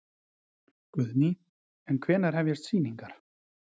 Guðný: En hvenær hefjast sýningar?